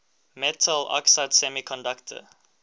metal oxide semiconductor